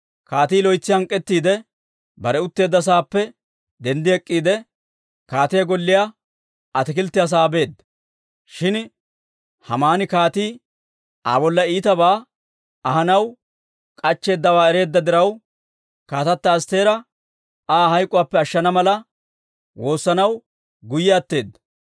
Kaatii loytsi hank'k'ettiide, bare utteedda saappe denddi ek'k'iide, kaatiyaa golliyaa ataakilttiyaa sa'aa beedda. Shin Haamani kaatii Aa bolla iitabaa ahanaw k'achcheeddawaa ereedda diraw, kaatata Astteera Aa hayk'k'uwaappe ashshana mala woossanaw guyye atteedda.